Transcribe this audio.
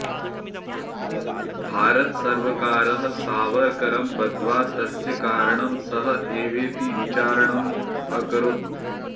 भारतसर्वकारः सावरकरं बध्द्वा तस्य कारणं सः एवेति विचारणं अकरोत्